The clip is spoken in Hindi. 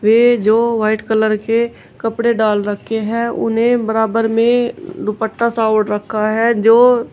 वे जो व्हाइट कलर के कपड़े डाल रखे हैं उन्हें बराबर में दुपट्टा सा ओढ़ रखा है जो--